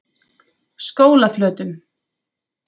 Skólaflötum